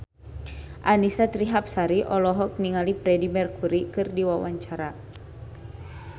Annisa Trihapsari olohok ningali Freedie Mercury keur diwawancara